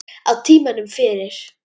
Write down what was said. Á tímanum fyrir